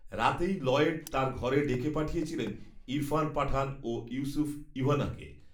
রাতেই লয়েড, তাঁর ঘরে ডেকে পাঠিয়েছিলেন, ইরফান পাঠান, ও, ইউসুফ, ইউহানাকে